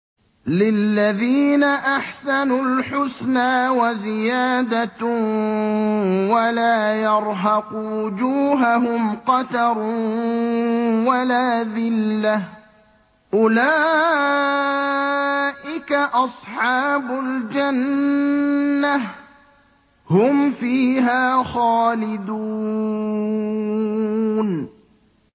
۞ لِّلَّذِينَ أَحْسَنُوا الْحُسْنَىٰ وَزِيَادَةٌ ۖ وَلَا يَرْهَقُ وُجُوهَهُمْ قَتَرٌ وَلَا ذِلَّةٌ ۚ أُولَٰئِكَ أَصْحَابُ الْجَنَّةِ ۖ هُمْ فِيهَا خَالِدُونَ